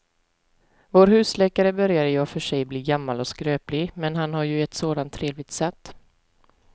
Vår husläkare börjar i och för sig bli gammal och skröplig, men han har ju ett sådant trevligt sätt!